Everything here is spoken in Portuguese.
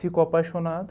Ficou apaixonado.